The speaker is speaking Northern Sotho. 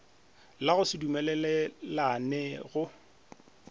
la go se dumelelane go